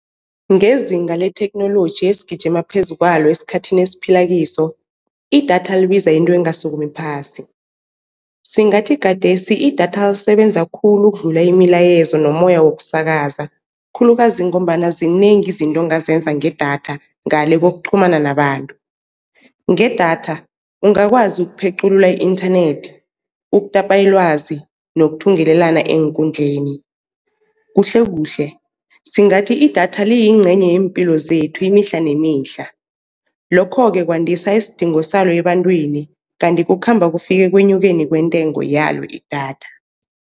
Ngezinga letheknoloji esigijima phezu kwalo esikhathini esiphila kiso, idatha libiza into engasukumi phasi. Singathi khathesi idatha lisebenza khulu ukudlula imilayezo nomoya wokusakaza, khulukazi ngombana zinengi izinto ongazenza ngedatha ngale kokuqhumana nabantu. Ngedatha ungakwazi ukupheculula i-inthanethi, ukutapa ilwazi nokuthungelelana eenkundleni. Kuhle kuhle singathi idatha liyincenye yempilo zethu imihla nemihla, lokho-ke kwandisa isidingo salo ebantwini, kanti kukhamba kufike ekwenyukeni kwentengo yalo idatha.